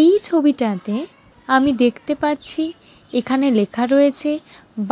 এই ছবিটাতে আমি দেখতে পাচ্ছি এখানে লেখা রয়েছে